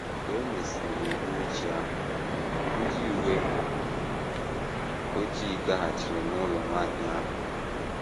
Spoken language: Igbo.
Mgbe e mesịrị n’uhuruchi ahụ, ndị uwe ojii gaghachiri n’ụlọ nwanyị ahụ.